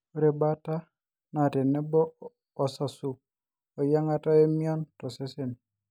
ore baata na tenebo oo asasu, eyiangata oo emion tosesen